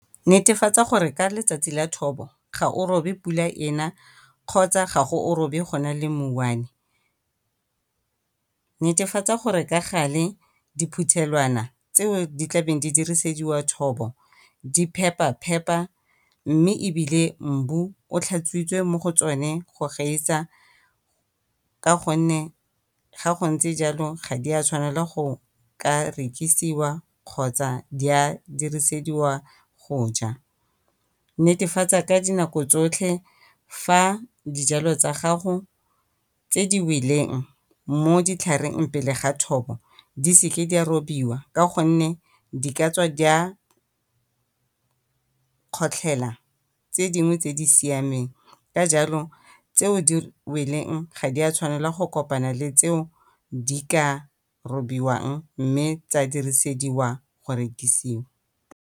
Netefatsa gore ka letsatsi ya thobo ga o robe pula ena kgotsa ga o robe go na le mouane. Netefatsa gore ka gale diphuthelwana tseo tlabeng di dirisediwa thobo di phepa-phepa, mme ebile mbu o tlhatswitswe mo go tsone go gaisa ka gonne ga go ntse jalo ga go a tshwanela gore di ka rekisiwa kgotsa di a diresediwa go ja. Netefatsa ka dinako tsotlhe fa dijalo tsa gago tse di weleng mo ditlhareng pele ga thobo, di seke di a robiwa ka gonne di ka tswa di a kgotlhela tse dingwe tse di siameng. Ka jalo tseo tse di weleng ga di a tshwanela go kopana le tseo di ka robiwang, mme tsa dirisediwa go rekisiwa.